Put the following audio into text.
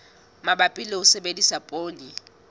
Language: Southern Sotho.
mabapi le ho sebedisa poone